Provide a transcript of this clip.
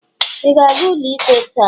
ị ga-aga ụlọikpe taa?